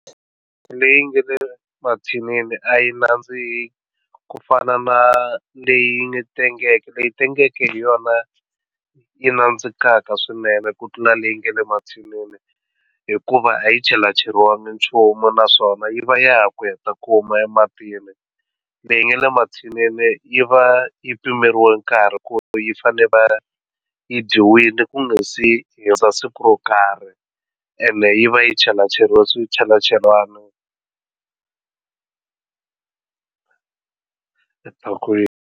Leyi nga le mathinini a yi nandziki ku fana na leyi nga tengeke leyi tengeke hi yona yi nandzikaka swinene ku tlula leyi nga le mathinini hikuva a yi chelacheriwangi nchumu naswona yi va ya ku ya ta kuma ematini leyi nga le mathinini yi va yi pimeriwa nkarhi ku yi fane va yi dyiwile ku nga se hundza siku ro karhi ene yi va yi chelacheriwangi swichelachelana etikweni.